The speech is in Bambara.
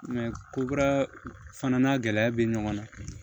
Nka ko kura fana n'a gɛlɛya bɛ ɲɔgɔn na